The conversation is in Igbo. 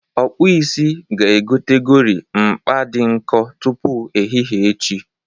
Ọkpụisi ga-egotegori mkpa dị nkọ tupu ehihe echi.